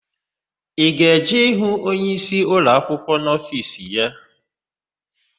I ga-eje ịhụ onyeisi ụlọakwụkwọ n'ofiisi ya?